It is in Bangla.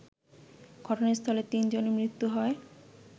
ঘটনাস্থলে তিনজনের মৃত্যু হয়